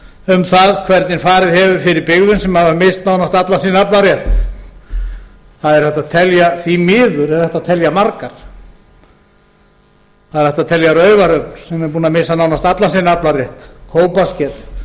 um það hvernig farið hefur fyrir byggðum sem hafa misst nánast allan sinn aflarétt því miður er hægt að telja margar það er hægt að telja raufarhöfn sem er búin að missa nánast allan sinn aflarétt kópasker